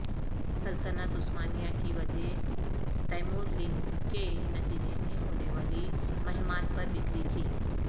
سلطنت عثمانیہ کی وجہ تیمور لنگ کے نتیجے میں ہونے والی مہمات پر بکھری تھی